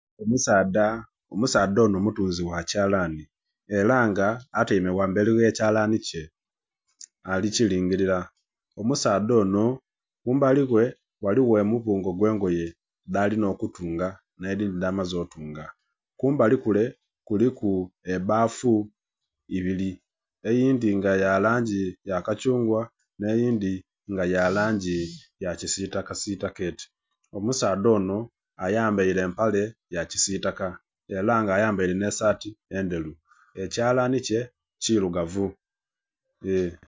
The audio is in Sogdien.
Omusaadha, omusaadha ono mutunzi wakyalani era nga atyaime ghamberi wekyalani kye nga ali kiringirira, omusaadha ono kumbali ghe ghaligho omubungo ogw'engoye dhalinha okutunga n'edhindhi dhamaze otunga. Kumbali kule kuliku ebbafu ebiri eyindhi nga yalangi yakathungwa n'eyindhi nga yalangi yakisitaka sitaka eti, omusaadha ono ayambaire empale yakisitaka era nga ayambaire n'esaati endheru, ekyalani kye kirugavu...